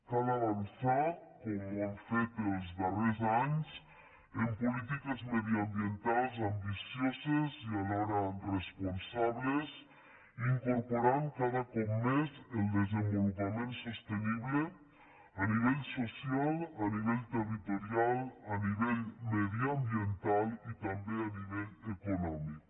cal avançar com hem fet els darrers anys en polítiques mediambientals ambicioses i alhora responsables incorporant cada cop més el desenvolupament sostenible a nivell social a nivell territorial a nivell mediambiental i també a nivell econòmic